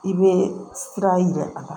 I bɛ sira yira a la